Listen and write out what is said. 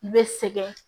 I bɛ sɛgɛn